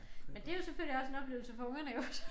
Men det jo selvfølgelig også en oplevelse for ungerne jo så